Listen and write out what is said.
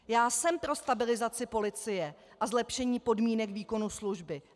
Já jsem pro stabilizaci policie a zlepšení podmínek výkonu služby.